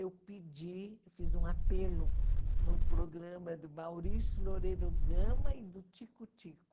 Eu pedi, fiz um apelo no programa do Maurício Loureiro Gama e do Tico-Tico.